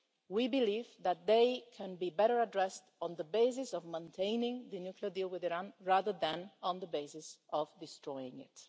We believe that they can be better addressed on the basis of maintaining the nuclear deal with Iran, rather than on the basis of destroying